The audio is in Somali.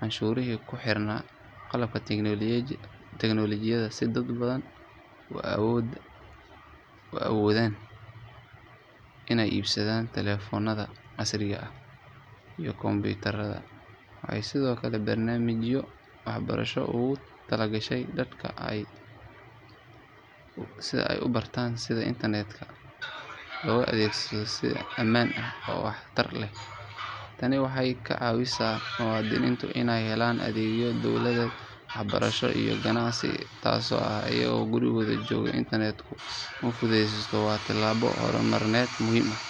canshuurihii ku xirnaa qalabka teknolojiyadda si dad badan u awoodaan inay iibsadaan taleefannada casriga ah iyo kombiyuutarada. Waxay sidoo kale barnaamijyo waxbarasho ugu talagashay dadka si ay u bartaan sida internet-ka loo adeegsado si ammaan ah oo waxtar leh. Tani waxay ka caawisay muwaadiniinta inay helaan adeegyo dowladeed, waxbarasho iyo ganacsi si toos ah iyagoo gurigooda jooga. Internet-ka fududeyntiisu waa tallaabo hormarineed muhiim ah.